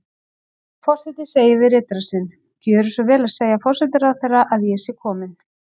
Forseti segir við ritara sinn: Gjöra svo vel að segja forsætisráðherra að ég sé komin